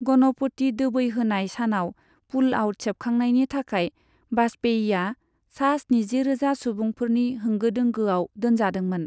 गणपति दोबैहोनाय सानाव पुलआउत सेबखांनायनि थाखाय वाजपेयीया सा स्निजिरोजा सुबुंफोरनि होंगो दोंगोआव दोन्जादोंमोन।